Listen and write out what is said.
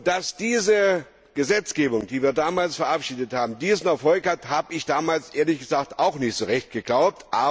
Dass die Gesetzgebung, die wir damals verabschiedet haben, diesen Erfolg haben würde, habe ich damals, ehrlich gesagt, auch nicht so recht geglaubt.